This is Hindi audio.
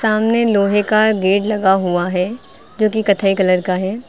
सामने लोहे का गेट लगा हुआ हैं जो कि कत्थई कलर का है।